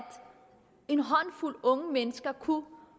en håndfuld unge mennesker kunne